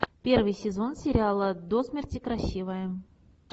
первый сезон сериала до смерти красивая